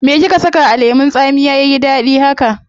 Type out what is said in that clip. Me kika saka a lemun tsamiya yayi dadi haka?